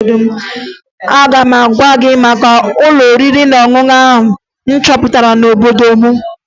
Aga m agwa gị maka ụlọ oriri na ọṅụṅụ m chọpụtara n'obodo m